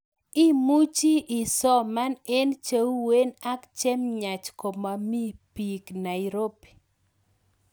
Imuchii isoman eng cheuwen ak chemyach komamii peek Nairobi